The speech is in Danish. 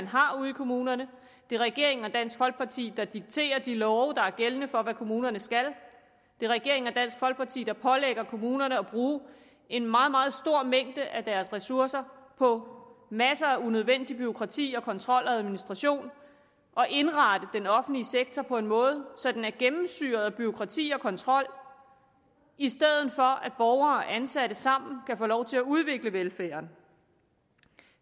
har ude i kommunerne det er regeringen og dansk folkeparti der dikterer de love der er gældende for hvad kommunerne skal det er regeringen og dansk folkeparti der pålægger kommunerne at bruge en meget meget stor mængde af deres ressourcer på masser af unødvendig bureaukrati kontrol og administration og at indrette den offentlige sektor på en måde så den er gennemsyret af bureaukrati og kontrol i stedet for at borgere og ansatte sammen kan få lov til at udvikle velfærden